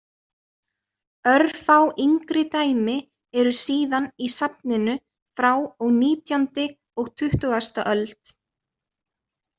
Örfá yngri dæmi eru síðan í safninu frá og nítjándi og tuttugasta öld.